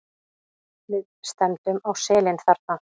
Við stefndum á selin þarna.